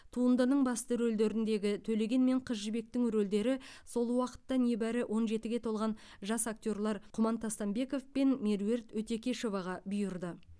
туындының басты рөлдеріндегі төлеген мен қыз жібектің рөлдері сол уақытта небәрі он жетіге толған жас актерлер құман тастанбеков пен меруерт өтекешоваға бұйырды